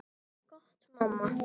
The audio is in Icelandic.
Gott mamma.